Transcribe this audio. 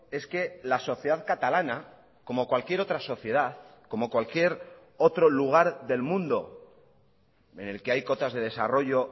es que la sociedad catalana como cualquier otra sociedad como cualquier otro lugar del mundo en el que hay cotas de desarrollo